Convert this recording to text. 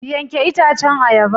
Yanke itacen ayaba.